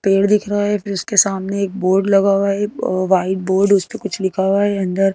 पेड़ दिख रहा है फिर उसके सामने एक बोर्ड लगा हुआ है वाइट बोर्ड उसपे कुछ लिखा हुआ है अंदर--